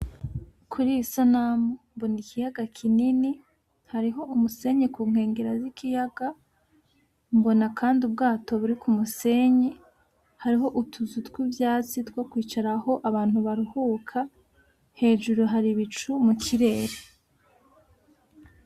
Kuriyi sanamu mbona ikiyaga kinini hariho umusenyi ku nkengera zikiyaga mbona kandi ubwato buri kumusenyi hariho utuzu tw'ivyatsi two kwicaraho abantu baruhuka hejuru hari ibicu mukirere.